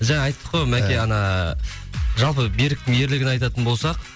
жаңа айттық қой мәке ана жалпы беріктің ерлігін айтатын болсақ